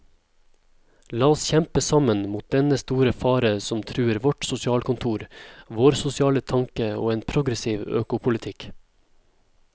La oss kjempe sammen mot dennne store fare som truer vårt sosialkontor, vår sosiale tanke og en progressiv økopolitikk.